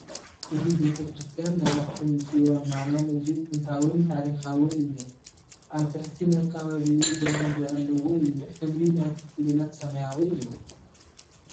እዚ ቤቴ ክርስትያን ናይ ኣኽሱም ፅዮን ማሪያም እዙይ ጥንታውን ታሪኻቅን እዩ። ኣብቲ ትሕቲ መካበብዪኡ ግራውንድ ኣሰዎ እዩ። ሕብሪ ናይቲ ጉልላት ሰማያዊ እዩ ።